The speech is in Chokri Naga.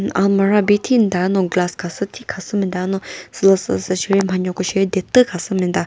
almarah bi thinta no glass khasü thi khasü müta no sülüsü süsheri mhano ko she detü khasüme ta.